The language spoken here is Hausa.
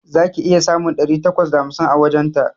Za ki iya samun ɗari takwas da hamsin a wajenta